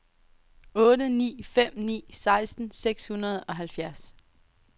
otte ni fem ni seksten seks hundrede og halvfjerds